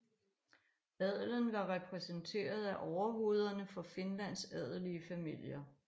Adelen var repræsenteret af overhovederne for Finlands adelige familier